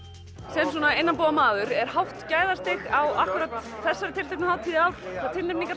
sem svona innanbúðarmaður er hátt gæðastig á akkúrat þessari tilteknu hátíð í ár hvað tilnefningar